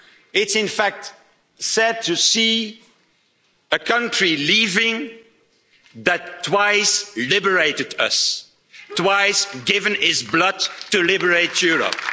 It's in fact sad to see a country leaving that twice liberated us, has twice given its blood to liberate Europe.